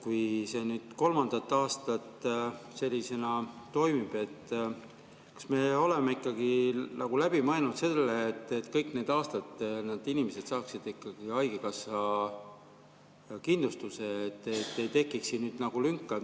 Kui see nüüd kolmandat aastat sellisena toimib, siis kas me oleme ikkagi mõelnud sellele, et kõik need aastad inimesed saaksid haigekassakindlustuse, et ei tekiks lünka?